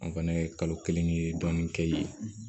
An fɛnɛ ye kalo kelen dɔɔnin kɛ yen